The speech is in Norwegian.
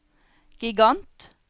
gigant